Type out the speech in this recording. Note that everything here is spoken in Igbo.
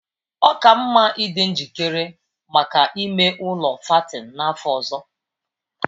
Ọ ka mma ịdị njikere maka ime ụlọ fattening n'afọ ọzọ